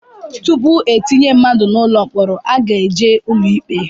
Tupu etinye mmadụ n'ụlọ mkpọrọ a ga-eje ụlọ ikpe